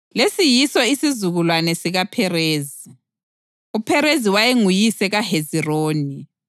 Lesi yiso isizukulwane sikaPherezi: uPherezi wayenguyise kaHezironi,